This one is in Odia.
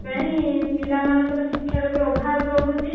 ପାଇଁ ପିଲାମାନଙ୍କର ଶିକ୍ଷାର ବି ଅଭାବ ରହୁଛି